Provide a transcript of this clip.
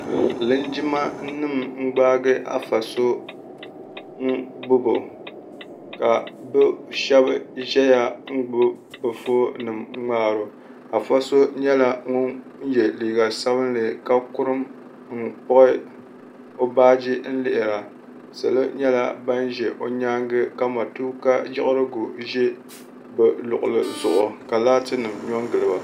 linjima nima n-gbaagi Afa so n gbubi o, ka bɛ shɛba ʒɛya n-gbubi bɛ foon nima n ŋmaari o. Afa so nyɛla ŋun ye liiga sabinli ka kurim n kpuɣi o baaji n lihira. Solo nyɛla ban ʒe o nyaaŋa ka matuuka yiɣirigu ʒi bɛ luɣili zuɣu ka laati nima nyo n gili ba.